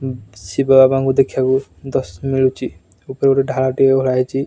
ଶିବ ବାବକୁ ଦେଖିବାକୁ ଦର୍ଶନ ମିଳୁଛି ଉପରେ ଗୋଟେ ଢାଳ ଟିଏ ଉଳା ହେଇଛି।